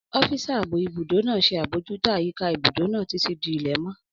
Ọ́físà ààbò ibùdó náà ṣe àbojútó àyíká ibùdó náà títí di ilẹ̀mọ́